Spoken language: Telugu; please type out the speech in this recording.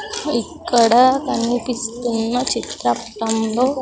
ఇక్కడ కనిపిస్తున్న చిత్రప్తంలో.